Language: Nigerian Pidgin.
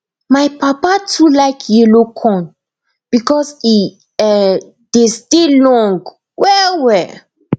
my papa too like yellow corn because e um dey stay long well well